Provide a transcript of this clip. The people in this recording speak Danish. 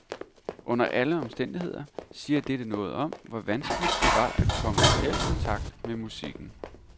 Under alle omstændigheder siger dette noget om, hvor vanskeligt det var at komme i reel kontakt med musikken.